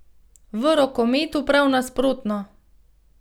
V rokometu Prav nasprotno.